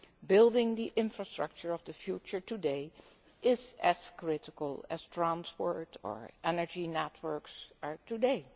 Building the infrastructure of the future today is as critical as transport or energy networks are today.